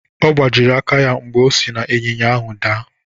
Ọ gbajiri aka ya mgbe o si n’ịnyịnya ahụ daa.